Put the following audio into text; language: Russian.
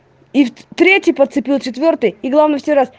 третий подцепил и главное